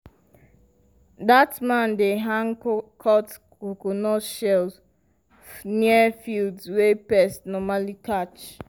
dat man dey hang cut coconut shells near fields wey pests normally catch.